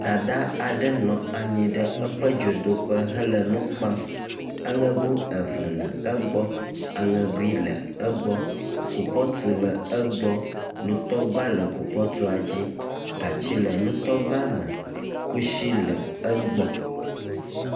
Dada aɖe nɔ anyi ɖe eƒe dzodoƒe hele nu kpam. Aŋego eve le egbɔ. Aŋegui le egbɔ. Kupɔtu le egbɔ. Nutɔgba le kupɔtua dzi. Gatsi le nutɔgba me. kusi le egbɔ.